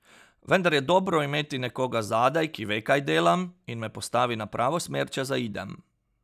Vendar je dobro imeti nekoga zadaj, ki ve, kaj delam, in me postavi na pravo smer, če zaidem.